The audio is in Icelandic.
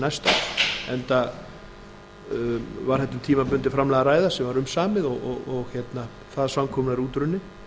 næsta árs enda var þetta um tímabundið framlag að ræða sem var umsamið og það samkomulag er útrunnið